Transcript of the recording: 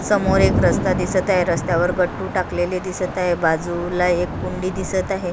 समोर एक रस्ता दिसत आहे रस्त्यावर गट्टू टाकलेले दिसत आहे बाजूला एक कुंडी दिसत आहे.